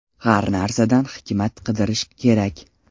Har narsadan hikmat qidirish kerak.